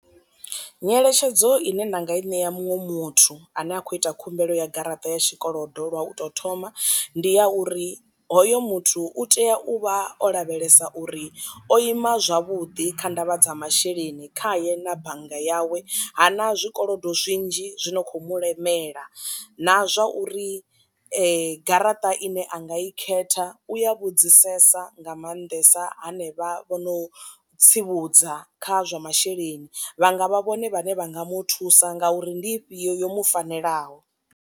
Nyeletshedzo ine nda nga i ṋea muṅwe muthu ane a khou ita khumbelo ya garaṱa ya tshikolodo lwa u to thoma, ndi ya uri hoyo muthu u tea u vha o lavhelesa uri o ima zwavhuḓi kha ndavha dza masheleni khaye na bannga yawe hana zwikolodo zwinzhi zwi no khou mulemela, na zwa uri ma garaṱa ine anga i khetha u ya vhudzisesa nga maanḓesa hanevha vhono tsivhudza kha zwa masheleni vha nga vha vhone vhane vha nga mu thusa nga uri ndi ifhio yo mu fanelaho.